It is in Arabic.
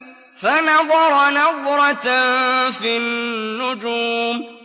فَنَظَرَ نَظْرَةً فِي النُّجُومِ